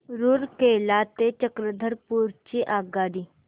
रूरकेला ते चक्रधरपुर ची आगगाडी